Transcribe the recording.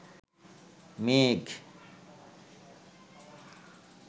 মেঘ